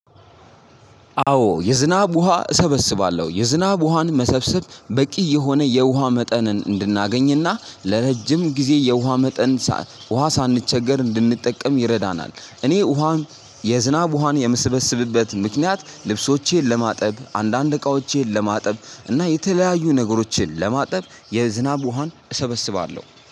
አዎ የዝናብ ውሃ እሰበስባለሁ የዝናብ ውሃን መሰብሰብ በቂ የሆነ የውሃ መጠንን እንድናገኝና ለረጅም ጊዜ የውሃ መጠን ውሃ ሳንቸገር እንድንጠቀም ይረዳናል። እኔ ውሃን የዝናብ ውሃን የምስበስብበት ምክንያት ልብሶቼን ለማጠብ አንዳንድ እቃዎቼን ለማጠብ እና የተለያዩ ነገሮችን ለማጠብ የዝናብ ውሃን እሰበስባለሁ